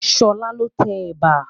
Ṣọlá ló tẹ ẹ̀bà